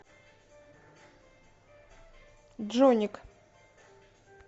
джоник